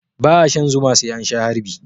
Ba'a shan zuma sai an sha harbi.